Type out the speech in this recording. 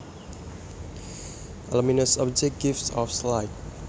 A luminous object gives off light